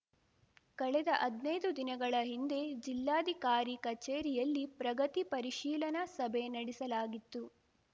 ಕಳೆದ ಹದ್ನೈದು ದಿನಗಳ ಹಿಂದೆ ಜಿಲ್ಲಾಧಿಕಾರಿ ಕಚೇರಿಯಲ್ಲಿ ಪ್ರಗತಿ ಪರಿಶೀಲನಾ ಸಭೆ ನಡೆಸಲಾಗಿತ್ತು